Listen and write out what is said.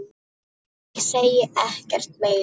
Ég segi ekkert meira.